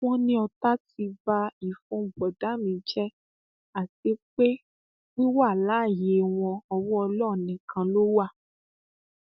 wọn ní ọtá ti ba ìfun bọdà mi jẹ àti pé wíwà láàyè wọn ọwọ ọlọrun nìkan ló wà